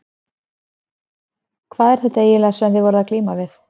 Hvað er þetta eiginlega sem þið eruð að glíma við?